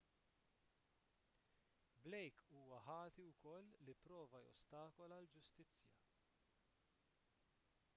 blake huwa ħati wkoll li pprova jostakola l-ġustizzja